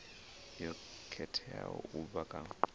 yo khetheaho u bva kha